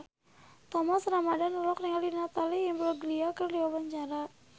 Thomas Ramdhan olohok ningali Natalie Imbruglia keur diwawancara